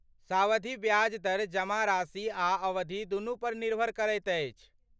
सावधि ब्याज दर जमा राशि आ अवधि दुनू पर निर्भर करैत अछि।